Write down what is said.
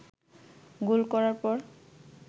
গোল করার পর